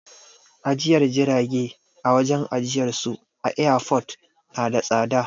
Ajiyar jirage a wajen ajiyarsu a airport na da tsada.